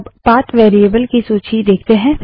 अब path variable की value देखते हैं